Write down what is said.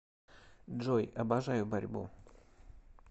джой обожаю борьбу